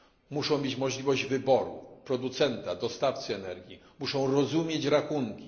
Muszą oni mieć możliwość wyboru producenta, dostawcy energii, muszą rozumieć rachunki.